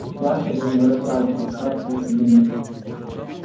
янки же не вырастают просто так из-под земли